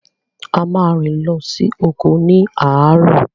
A ma rìn lọ sí oko ni àárọ̀